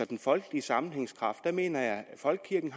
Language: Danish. den folkelige sammenhængskraft mener jeg at folkekirken